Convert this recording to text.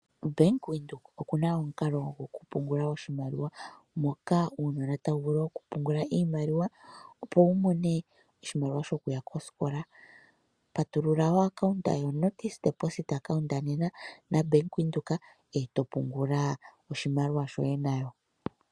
Bank Windhoek okuna omukalo goku pungula oshimaliwa moka uunona tawu vulu okupungula iimaliwa opo wumone oshimaliwa shokuya koskola. Patulula o account yoNotice deposit account nena naBank Windhoek eeto pungula oshimaliwa shoye nayo.